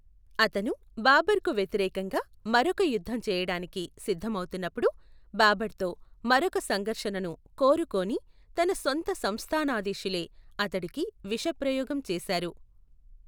అతను బాబర్కు వ్యతిరేకంగా మరొక యుద్ధం చేయడానికి సిద్ధమవుతున్నప్పుడు, బాబర్తో మరొక సంఘర్షణను కోరుకోని తన సొంత సంస్థానాధీశులే అతడికి విషప్రయోగం చేశారు.